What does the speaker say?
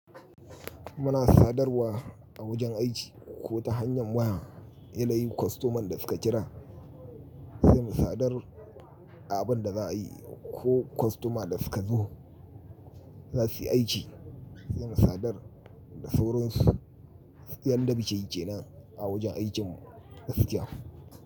Muna sadarwa a wajen aiki ko ta hanyar waya, yanayin kwastoman da suka kira sai mu sadar abin da za a yi ko kwastoma da suka zo za su yi aiki sai mu sadar da sauran su yadda mukeyi ke nan a wajen aikin mu gaskiya.